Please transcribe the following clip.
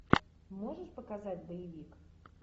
можешь показать боевик